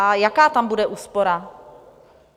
A jaká tam bude úspora?